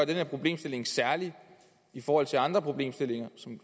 den her problemstilling særlig i forhold til andre problemstillinger